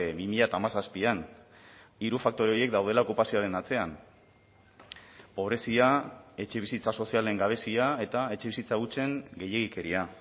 bi mila hamazazpian hiru faktore horiek daudela okupazioaren atzean pobrezia etxebizitza sozialen gabezia eta etxebizitza hutsen gehiegikeria